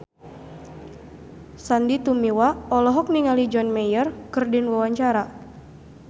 Sandy Tumiwa olohok ningali John Mayer keur diwawancara